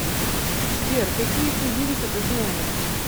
сбер какие тувинцы ты знаешь